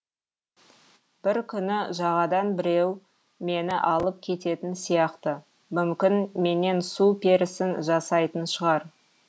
бір күні жағадан біреу мені алып кететін сияқты мүмкін менен су перісін жасайтын шығар